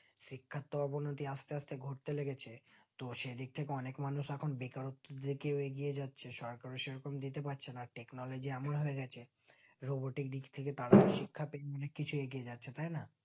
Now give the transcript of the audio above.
শিক্ষার তো অবনতি আস্তে আস্তে ঘটে লেগেছে তো সেদিক থেকে অনিক মানুষ এখন বেকারত্ব দিকে এগিয়ে যাচ্ছে যেতে পারছে না technology এমন হয়ে গেছে robotic দিক থেকে তারা শিক্ষা দিক থেকে এগিয়ে যাচ্ছে তাই না